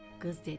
Qız dedi: